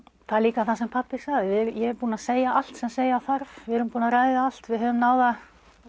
það er líka það sem pabbi sagði ég er búinn að segja allt sem segja þarf við erum búin að ræða allt við höfum náð að